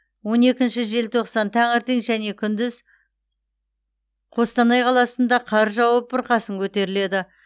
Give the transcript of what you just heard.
он екінші желтоқсан таңертең және күндіз қостанай қаласында қар жауып бұрқасын көтеріледі